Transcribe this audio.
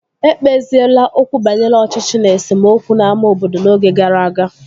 Ekpeziela okwu banyere ọchịchị na esemokwu n'ámá obodo n'oge gara aga